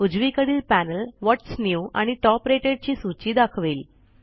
उजवीकडील panel what's new आणि top rated ची सूची दाखवेल